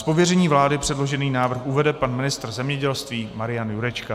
Z pověření vlády předložený návrh uvede pan ministr zemědělství Marian Jurečka.